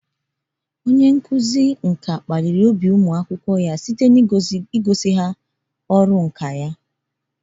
Onye nkuzi nka kpaliri ụmụ akwụkwọ ya njem nka nka.